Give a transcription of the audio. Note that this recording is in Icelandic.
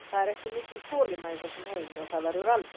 Það er ekki mikil þolinmæði í þessum heimi og það verður aldrei.